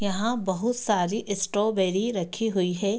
यहाँ बहुत सारी स्ट्रॉबेरी रखी हुई है।